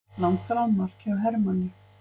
Langþráð mark hjá Hermanni